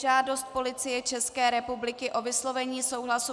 Žádost Policie České republiky o vyslovení souhlasu